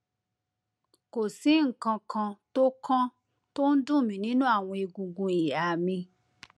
kò sí nǹkan kan tó kan tó ń dùn mí nínú àwọn egungun ìhà mi